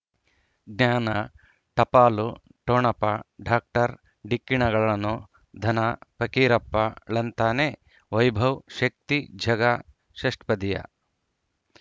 ಜ್ಞಾನ ಟಪಾಲು ಠೊಣಪ ಡಾಕ್ಟರ್ ಢಿಕ್ಕಿ ಣಗಳನು ಧನ ಫಕೀರಪ್ಪ ಳಂತಾನೆ ವೈಭವ್ ಶಕ್ತಿ ಷಷ್ಟ್ಪದಿಯ